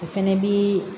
O fɛnɛ bi